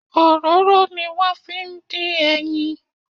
Òróró ni wón fi ń dín ẹyin.